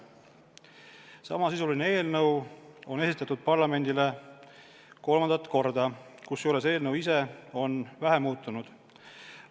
Samasisuline eelnõu on esitatud parlamendile kolmandat korda, kusjuures eelnõu ise on vähe muutunud.